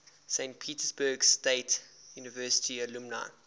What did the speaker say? saint petersburg state university alumni